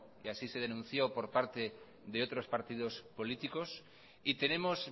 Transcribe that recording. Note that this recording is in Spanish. y así se denunció por parte de otros partidos apolíticos y tenemos